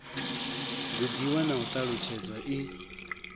gudiwa na u ṱalutshedzwa i